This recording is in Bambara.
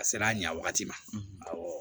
A sera a ɲɛ wagati ma